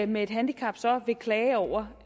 med et handicap så vil klage over